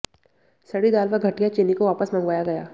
सड़ी दाल व घटिया चीनी को वापस मंगवाया गया